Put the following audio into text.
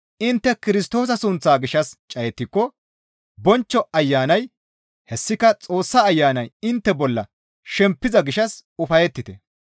Intte Kirstoosa sunththaa gishshas cayettiko bonchcho Ayanay hessika Xoossa Ayanay intte bolla shempiza gishshas ufayettite.